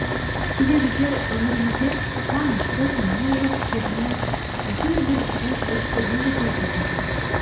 кейде біздер өмірімізде маңызсыз маңызы жоқ істермен әйтеуір бір жүрген жүрістермен де толтырып жатамыз